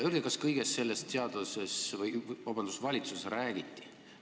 Öelge, kas kõigest sellest valitsuses räägiti?